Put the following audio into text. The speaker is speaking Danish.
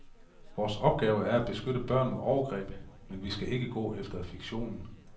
Vores opgave er at beskytte børn mod overgreb, men vi skal ikke gå efter fiktionen.